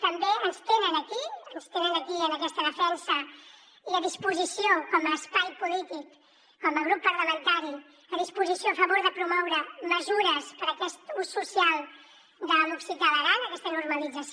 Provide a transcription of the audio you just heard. també ens tenen aquí en aquesta defensa i a disposició com a espai polític com a grup parlamentari a favor de promoure mesures per a aquest ús social de l’occità a l’aran aquesta normalització